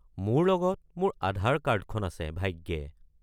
মোৰ লগত মোৰ আধাৰ কাৰ্ডখন আছে, ভাগ্যে।